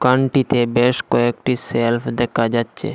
দোকানটিতে বেশ কয়েকটি শেলফ দেখা যাচ্ছে।